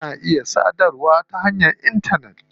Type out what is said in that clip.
Ana iya sadarwa ta hanyar intanet.